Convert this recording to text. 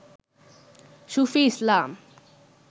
সুফি ইসলাম